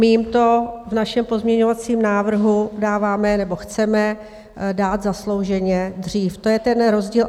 My jim to v našem pozměňovacím návrhu dáváme nebo chceme dát zaslouženě dřív, to je ten rozdíl.